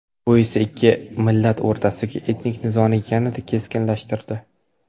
Bu esa ikki millat o‘rtasidagi etnik nizoni yanada keskinlashtirdi.